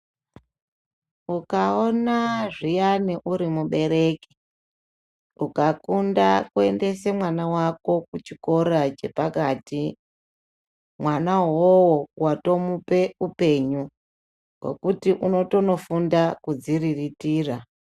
Ukaona zviyani uri mubereki ukafunda kuendesa mwana wako kuchikora chepakati mwana uwowo watokupa upenyu wekuti unotondofunda kuzviriritira .